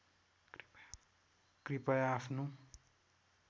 कृपया आफ्नो